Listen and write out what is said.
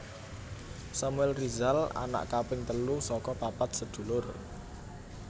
Samuel Rizal anak kaping telu saka papat sedulur